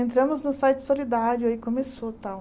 Entramos no site solidário aí começou tal.